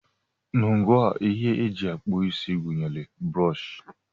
Ngwa ihe eji akpụ isi gụnyere brọọshị